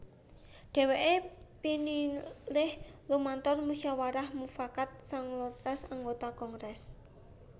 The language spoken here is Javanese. Dheweke pinilih lumantar musyawarah mufakat sangalas anggota kongres